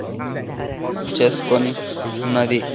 Admission చేసుకొని ఉన్నది.